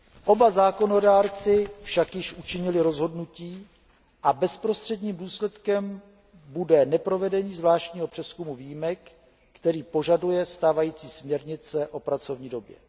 Oba zákonodárci však již učinili rozhodnutí a bezprostředním důsledkem bude neprovedení zvláštního přezkumu výjimek, který požaduje stávající směrnice o pracovní době.